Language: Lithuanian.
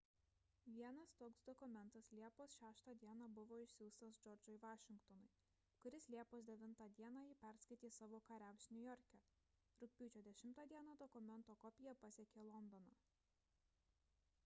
vienas toks dokumentas liepos 6 d buvo išsiųstas džordžui vašingtonui kuris liepos 9 d jį perskaitė savo kariams niujorke rugpjūčio 10 d dokumento kopija pasiekė londoną